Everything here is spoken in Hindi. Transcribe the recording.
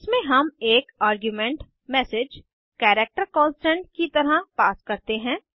इसमें हम एक आर्गुमेंट एमएसजी कैरेक्टर कांस्टेंट की तरह पास करते हैं